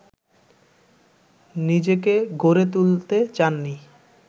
নিজেকে গড়ে তুলতে চাননি